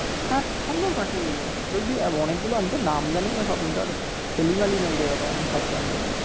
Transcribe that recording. হ্যাঁ সুন্দর পাখি গুলো অনেকগুলো আমি তো নাম জানিনা সবগুলোর আমি তো নই রে বাবা যে সব জানবো।